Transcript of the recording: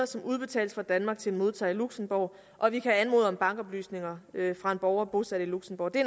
som udbetales fra danmark til en modtager i luxembourg og vi kan anmode om bankoplysninger fra en borger bosat i luxembourg det